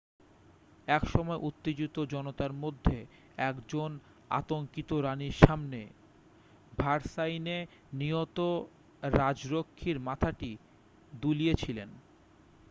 এক সময় উত্তেজিত জনতার মধ্যে একজন আতঙ্কিত রানির সামনে ভার্সাইয়ে নিহত রাজরক্ষীর মাথাটি দুলিয়েছিলেন